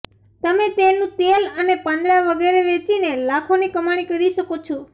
તમે તેનું તેલ અને પાંદડા વગેરે વેચીને લાખોની કમાણી કરી શકો છો